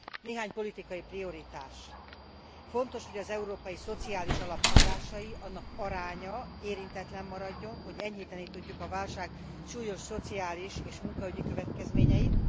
Néhány politikai prioritás fontos, hogy az Európai Szociális Alap forrásai, annak aránya érintetlen maradjon, hogy enyhíteni tudjuk a válság súlyos szociális és munkaügyi következményeit.